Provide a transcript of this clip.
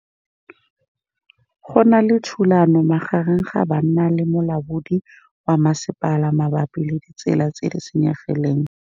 Go na le thulanô magareng ga banna le molaodi wa masepala mabapi le ditsela tse di senyegileng.